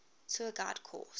tour guide course